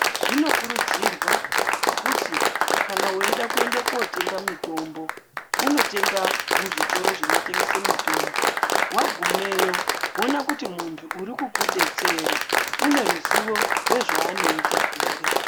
Zvino kurudzirwa kuti kana weida kuenda ko tenga mitombo uno tenga mu zvitoro zvino tengese mitombo wagumeyo woona kuti muntu uri kuku detsera une ruzivo rwe zvaanoita here.